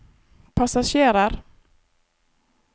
passasjerer